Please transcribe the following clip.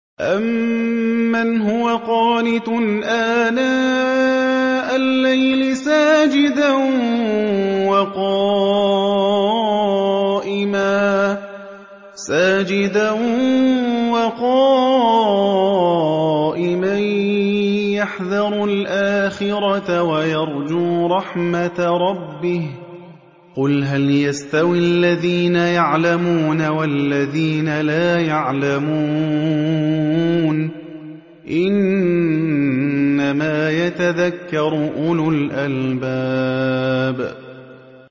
أَمَّنْ هُوَ قَانِتٌ آنَاءَ اللَّيْلِ سَاجِدًا وَقَائِمًا يَحْذَرُ الْآخِرَةَ وَيَرْجُو رَحْمَةَ رَبِّهِ ۗ قُلْ هَلْ يَسْتَوِي الَّذِينَ يَعْلَمُونَ وَالَّذِينَ لَا يَعْلَمُونَ ۗ إِنَّمَا يَتَذَكَّرُ أُولُو الْأَلْبَابِ